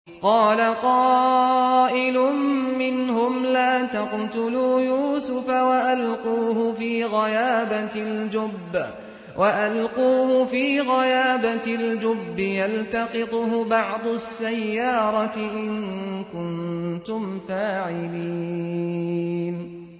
قَالَ قَائِلٌ مِّنْهُمْ لَا تَقْتُلُوا يُوسُفَ وَأَلْقُوهُ فِي غَيَابَتِ الْجُبِّ يَلْتَقِطْهُ بَعْضُ السَّيَّارَةِ إِن كُنتُمْ فَاعِلِينَ